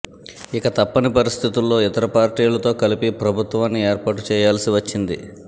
ఇక తప్పని పరిస్థితుల్లో ఇతర పార్టీలతో కలిపి ప్రభుత్వాన్ని ఏర్పాటు చేయాల్సి వచ్చింది